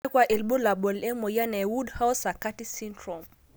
kakua ilbulabul emoyian e woodhouse sakati syndrome?